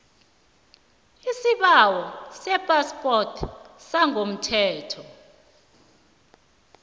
isibawo sephaspoti yangokomthetho